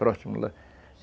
Próximo lá.